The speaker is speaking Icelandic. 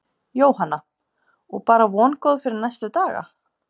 Jóhanna: Og bara vongóð fyrir næstu dagana?